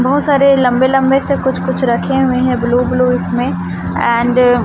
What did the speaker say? बहोत सारे लंबे लंबे से कुछ कुछ रखे हुए हैं ब्लू ब्लू इसमें एंड --